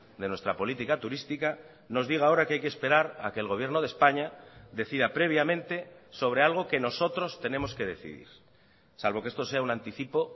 de nuestra política turística nos diga ahora que hay que esperar a que el gobierno de españa decida previamente sobre algo que nosotros tenemos que decidir salvo que esto sea un anticipo